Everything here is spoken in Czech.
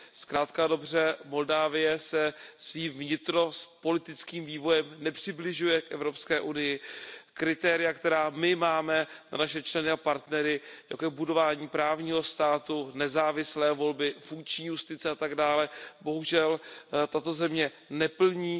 Zkrátka a dobře Moldavsko se svým vnitropolitickým vývojem nepřibližuje k Evropské unii, kritéria, která my máme pro naše členy a partnery, jako je budování právního státu, nezávislé volby, funkční justice a tak dále, bohužel tato země neplní.